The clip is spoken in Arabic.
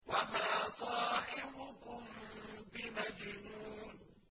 وَمَا صَاحِبُكُم بِمَجْنُونٍ